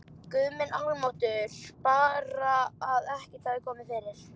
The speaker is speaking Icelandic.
Guð minn almáttugur, bara að ekkert hafi komið fyrir!